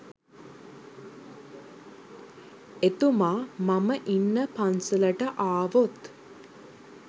එතුමා මම ඉන්න පන්සලට ආවොත්